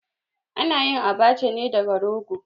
A na yin Abacha ne daga rogo.